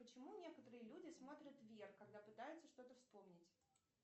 почему некоторые люди смотрят вверх когда пытаются что то вспомнить